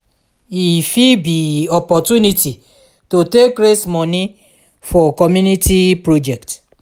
e fit be opportunity to take raise moni for community project